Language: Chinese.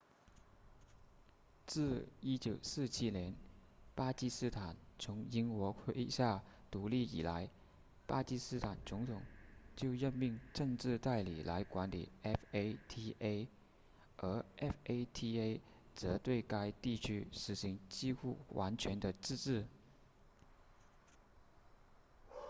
自1947年巴基斯坦从英国麾下独立以来巴基斯坦总统就任命政治代理来管理 fata 而 fata 则对该地区实行几乎完全的自治